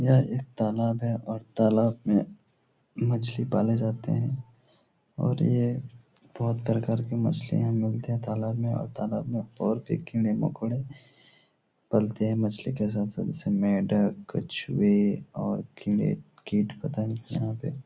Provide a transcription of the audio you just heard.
यह एक तालाब है और तालाब में मछली पाले जाते हैं और ये बोहोत प्रकार के मछली मिलते हैं तालाब में और तालाब में और भी कीड़े मकोड़े पलते हैं मछली के साथ-साथ इसमें मेढक कछुए और कीड़े कीट-पतंग यहाँ पे--